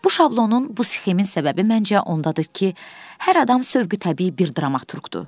Bu şablonun, bu sxemin səbəbi məncə ondadır ki, hər adam sövqü təbii bir dramaturqdur.